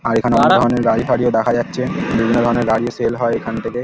আর এখানে অনেক ধরনের গাড়ি ফাড়িও দেখা যাচ্ছে বিভিন্ন ধরনের গাড়িও সেল হয় এখান থেকে ।